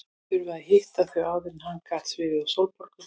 Þurfti að hitta þau áður en hann gat svifið á Sólborgu.